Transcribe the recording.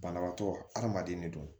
Banabaatɔ adamaden ne don